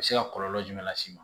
A bɛ se ka kɔlɔlɔ jumɛn las'i ma